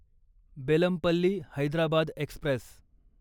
Bellampalli Hyderabad Express